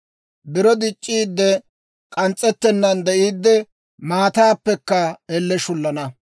Biro dic'c'iidde, k'ans's'ettennan de'iiddi, maataappekka elle shullana.